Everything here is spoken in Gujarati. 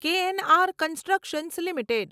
KNR constructions limited